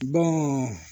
Bɔn